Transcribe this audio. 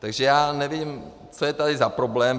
Takže já nevím, co je tady za problém.